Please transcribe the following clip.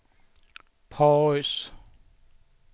paus